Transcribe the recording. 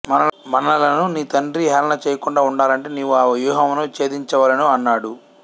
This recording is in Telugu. మనలను నీ తండ్రి హేళన చేయకుండా ఉండాలంటే నీవు ఆ వ్యూహమును ఛేదించ వలెను అన్నాడు